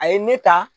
A ye ne ta